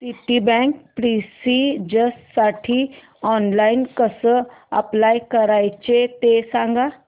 Citibank प्रेस्टिजसाठी online कसं apply करायचं ते सांग